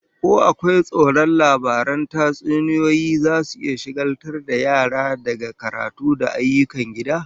Ko akwai tsoron labaran tatsuniyoyi zasu iya shagaltar da yara daga karatu da ayyukan gida?